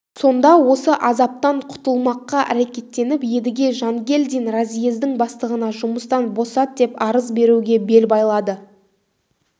сонда осы азаптан құтылмаққа әрекеттеніп едіге жангельдин разъездің бастығына жұмыстан босат деп арыз беруге бел байлады